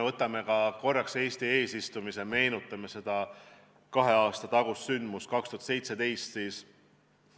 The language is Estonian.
Vaatame korraks Eesti eesistumist, meenutame seda kahe aasta tagust sündmust, mis toimus 2017.